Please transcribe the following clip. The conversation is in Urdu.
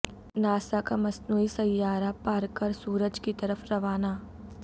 ناسا کا مصنوعی سیارہ پارکر سورج کی طرف روانہ